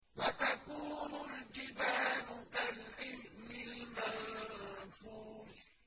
وَتَكُونُ الْجِبَالُ كَالْعِهْنِ الْمَنفُوشِ